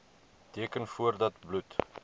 teken voordat bloed